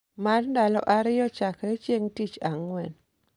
mar ndalo ariyo chakre chieng' tich ang'wen